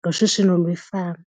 ngoshishino lwefama.